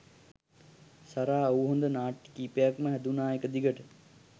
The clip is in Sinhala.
සරා ඔව් හොඳ නාට්‍ය කීපයක් ම හැදුණා එක දිගට.